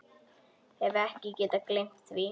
Hef ekki getað gleymt því.